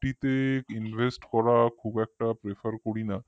FD তে invest করা খুব একটা prefer করি না